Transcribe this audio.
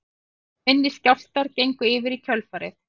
Minni skjálftar gengu yfir í kjölfarið